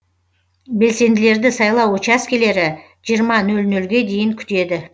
белсенділерді сайлау учаскілері жиырма нөл нөлге дейін күтеді